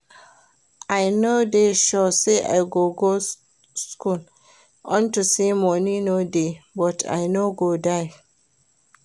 I no dey sure say I go go school unto say money no dey but I no go die